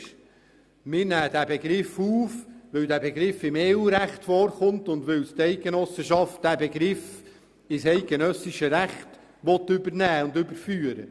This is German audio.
Wir nehmen ihn auf, weil er im EU-Recht vorkommt und weil die Eidgenossenschaft diesen Begriff ins eidgenössische Recht übernehmen will.